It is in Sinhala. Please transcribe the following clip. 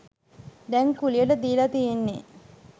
දැන් කුලියට දීල තියෙන්නෙ